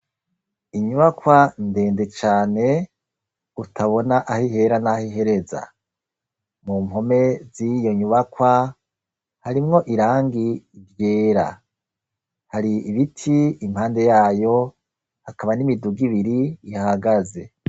Inyubakwa ndende cane utabona aho ihera naho ihereza, mu mpome ziyo nyubakwa harimwo irangi ryera, hari ibiti impande yayo hakaba n'imiduga ibiri ihagaze.